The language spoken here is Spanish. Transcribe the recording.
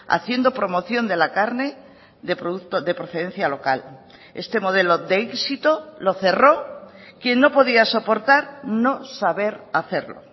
haciendo promoción de la carne de producto de procedencia local este modelo de éxito lo cerró quien no podía soportar no saber hacerlo